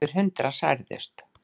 Yfir hundrað særðust.